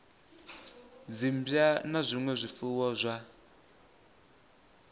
dzimmbwa na zwinwe zwifuwo zwa